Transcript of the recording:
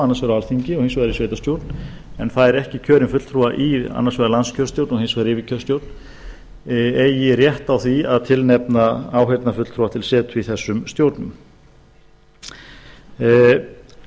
annars vegar á alþingi og hins vegar í sveitarstjórn en fær ekki kjörinn fulltrúa í annars vegar landskjörstjórn og hins vegar yfirkjörstjórn eigi rétt á því að tilnefna áheyrnarfulltrúa til setu í þessum stjórnum kosningarrétturinn